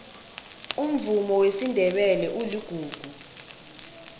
umvumo wesindebele uligugu